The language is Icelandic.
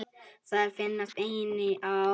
Þær finnast einnig í árósum.